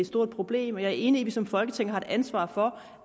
stort problem og jeg er enig i at vi som folketing har et ansvar for